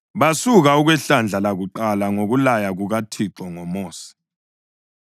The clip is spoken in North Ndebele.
Basuka, okwehlandla lakuqala ngokulaya kukaThixo ngoMosi.